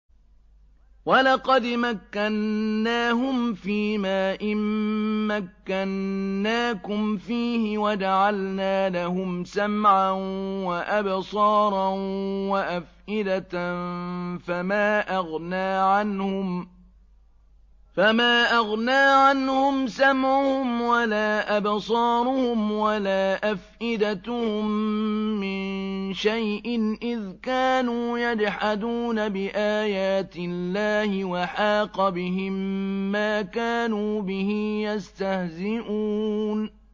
وَلَقَدْ مَكَّنَّاهُمْ فِيمَا إِن مَّكَّنَّاكُمْ فِيهِ وَجَعَلْنَا لَهُمْ سَمْعًا وَأَبْصَارًا وَأَفْئِدَةً فَمَا أَغْنَىٰ عَنْهُمْ سَمْعُهُمْ وَلَا أَبْصَارُهُمْ وَلَا أَفْئِدَتُهُم مِّن شَيْءٍ إِذْ كَانُوا يَجْحَدُونَ بِآيَاتِ اللَّهِ وَحَاقَ بِهِم مَّا كَانُوا بِهِ يَسْتَهْزِئُونَ